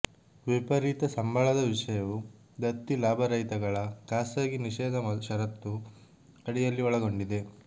ವಿಪರೀತ ಸಂಬಳದ ವಿಷಯವು ದತ್ತಿ ಲಾಭರಹಿತಗಳ ಖಾಸಗಿ ನಿಷೇಧ ಷರತ್ತು ಅಡಿಯಲ್ಲಿ ಒಳಗೊಂಡಿದೆ